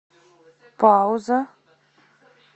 пауза